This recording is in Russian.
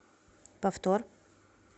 повтор